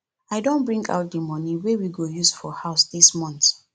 i don bring out the money wey we go use for house dis month